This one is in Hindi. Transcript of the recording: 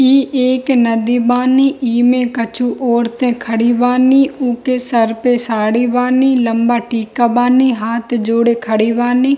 इ एक नदी बानी | इ में कछु औरतेें खड़ी बानी | ऊके सर पे साडी बानी लम्बा टिका बानी हाथ जोड़े खड़ी बानी।